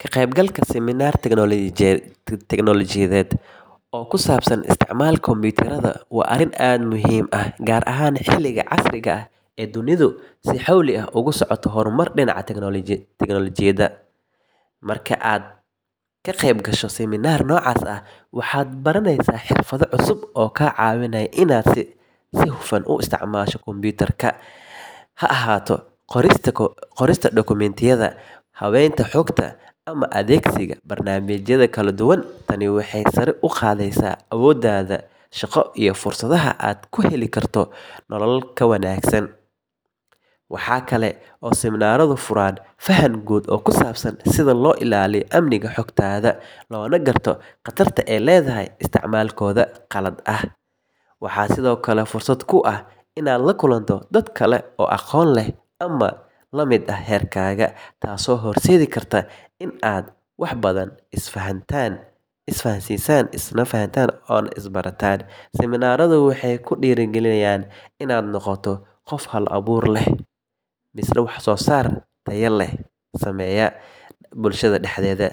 Ka qaybgalka siminaar teknoolojiyeed oo ku saabsan isticmaalka kombuyuutarrada waa arrin aad u muhiim ah, gaar ahaan xilligan casriga ah ee dunidu si xawli ah ugu socoto horumar dhinaca tiknoolajiyadda. Marka aad ka qayb gasho siminaar noocaas ah, waxaad baranaysaa xirfado cusub oo kaa caawinaya inaad si hufan u isticmaasho kombuyuutarka, ha ahaato qorista dukumiintiyada, habaynta xogta, ama adeegsiga barnaamijyada kala duwan. Tani waxay sare u qaadaysaa awooddaada shaqo iyo fursadaha aad ku heli karto nolol ka wanaagsan. Waxaa kale oo siminaarradu furaan fahan guud oo ku saabsan sida loo ilaaliyo amniga xogtaada, loona garto khatarta ay leedahay isticmaalkooda qalad ah. Waxaa sidoo kale fursad kuu ah inaad la kulanto dad kale oo aqoon leh ama la mid ah heerkaaga, taasoo horseedi karta in aad wax badan isdhaafsataan. Siminaarradu waxay ku dhiirrigeliyaan inaad noqoto qof hal abuur leh,